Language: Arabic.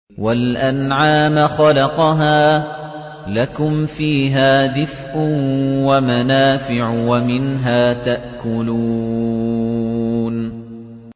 وَالْأَنْعَامَ خَلَقَهَا ۗ لَكُمْ فِيهَا دِفْءٌ وَمَنَافِعُ وَمِنْهَا تَأْكُلُونَ